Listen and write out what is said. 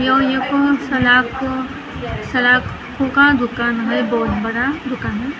यह एक सलाख सलाखों का दुकान है बहुत बड़ा दुकान है इस --